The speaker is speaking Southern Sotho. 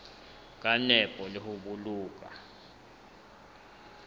ka nepo le ho boloka